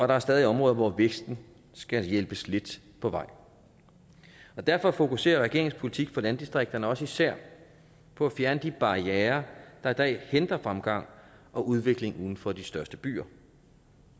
der er stadig områder hvor væksten skal hjælpes lidt på vej derfor fokuserer regeringens politik for landdistrikterne også især på at fjerne de barrierer der i dag hindrer fremgangen og udviklingen for de største byer